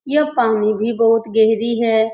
यह पानी भी बहुत गहरी है।